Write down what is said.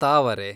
ತಾವರೆ